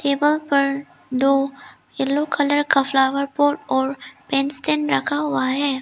Table पर दो yellow colour का फ्लावर पॉट और पेन स्टैंड रखा हुआ है।